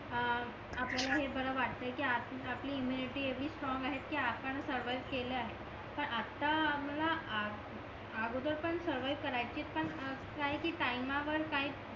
हां आवळ्याला हे बर वाटतय कि आपली इम्म्युनिटी एवढी स्ट्रिंग आहेत कि पण सर्वविव्ह केले आहे पण आता आम्हाला अगोदर पण सरवईव्ह पण काय ती टाईमा वर काहीच